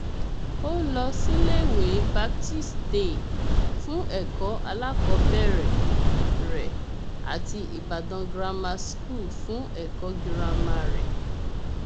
ó lọ síléèwé baptist day fún ẹkọ alákọọbẹrẹ rẹ àti ìbàdàn grammar school fún ẹkọ girama rẹ